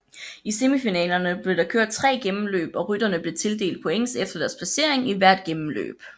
I semifinalerne blev der kørt tre gennemløb og rytterne blev tildelt points efter deres placering i hvert gennemløb